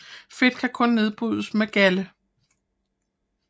Fedt kan kun nedbrydes med galde